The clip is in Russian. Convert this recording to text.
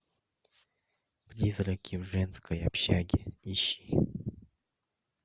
призраки в женской общаге ищи